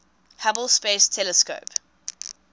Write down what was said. hubble space telescope